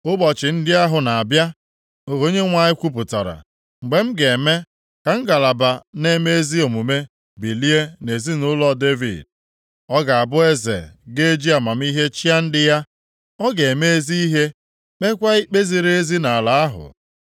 “Ụbọchị ndị ahụ na-abịa,” ka Onyenwe anyị kwupụtara, “mgbe m ga-eme ka Ngalaba na-eme ezi omume bilie nʼezinaụlọ Devid. Ọ ga-abụ Eze ga-eji amamihe chịa ndị ya. Ọ ga-eme ezi ihe, kpeekwa ikpe ziri ezi nʼala ahụ.